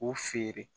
K'u feere